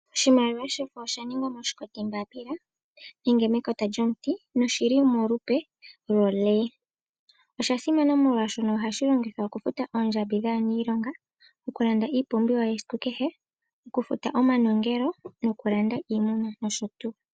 Oshimaliwa shefo oshaningwa moshikoti mbapila nenge mekota lyomuti na oshi li molupe lyo lee. Oshasimana molwashoka ohashi longithwa okufuta oondjambi dha niilonga, okulanda iipumbiwa yesiku kehe, okufuta omanongelo, okulanda iimuna nosho tu.